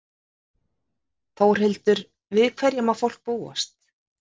Þórhildur, við hverju má fólk búast?